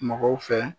Mɔgɔw fɛ